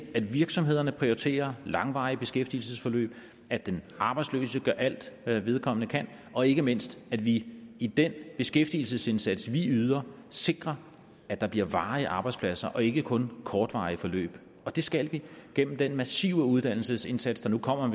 at virksomhederne prioriterer langvarige beskæftigelsesforløb at den arbejdsløse gør alt hvad vedkommende kan og ikke mindst at vi i den beskæftigelsesindsats vi yder sikrer at der bliver varige arbejdspladser og ikke kun kortvarige forløb og det skal vi gennem den massive uddannelsesindsats der nu kommer